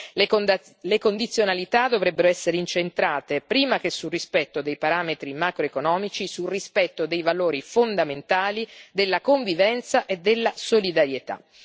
Le condizionalità dovrebbero essere incentrate, prima che sul rispetto dei parametri macroeconomici, sul rispetto dei valori fondamentali della convivenza e della solidarietà.